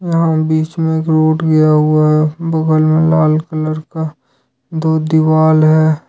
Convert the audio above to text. यहां बीच में एक रोड गया हुआ है बगल में लाल कलर का दो दीवाल है।